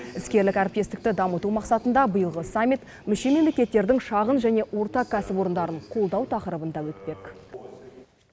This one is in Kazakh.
іскерлік әріптестікті дамыту мақсатында биылғы саммит мүше мемлекеттердің шағын және орта кәсіпорындарын қолдау тақырыбында өтпек